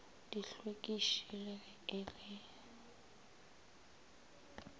dihlwekiši le ge e le